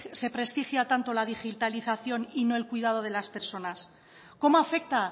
se prestigia tanto la digitalización y no el cuidado de las personas cómo afecta